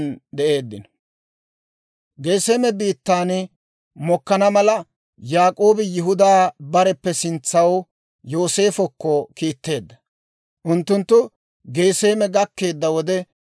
Geseeme biittan mokkana mala, Yaak'oobi Yihudaa bareppe sintsaw Yooseefokko kiitteedda; unttunttu Geseeme gakkeedda wode,